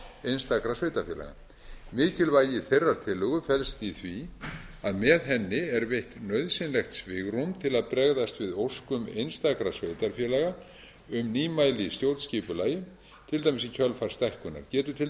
einstakra sveitarfélaga mikilvægi þeirrar tillögu felst í því að með henni er veitt nauðsynlegt svigrúm til að bregðast við óskum einstakra sveitarfélaga um nýmæli í stjórnskipulagi til dæmis í kjölfar stækkunar getur til